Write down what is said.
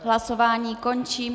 Hlasování končím.